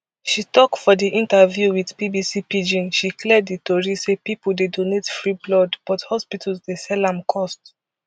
she tok for di interview wit bbc pidgin she clear di tori say pipo dey donate free blood but hospitals dey sell am cost